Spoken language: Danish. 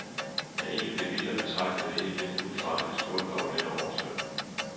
Ja, egentlig blev vi, der betragtede det hele lidt udefra, lidt skuffede over denne oversvømmelse.